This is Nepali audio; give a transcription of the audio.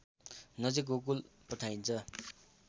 नजिक गोकुल पठाइन्छ